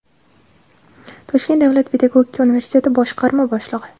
Toshkent davlat pedagogika universiteti boshqarma boshlig‘i;.